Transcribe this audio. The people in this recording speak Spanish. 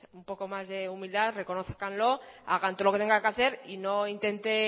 un poco más de humildad reconózcanlo hagan todo lo que tengan que hacer y no intente